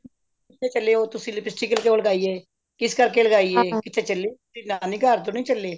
ਕਿੱਥੇ ਚੱਲੇ ਹੋ ਤੁਸੀਂ lipstick ਕਿਉਂ ਲਗਾਈ ਏ ਕਿਸ ਕਰਕੇ ਲਗਾਈ ਏ ਕਿਥੇ ਚਲੇ ਹੋ ਤੇ ਨਾਨੀ ਘਰ ਤੋ ਨਹੀਂ ਚੱਲੇ